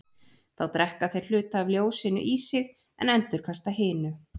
Þá drekka þeir hluta af ljósinu í sig en endurkasta hinu.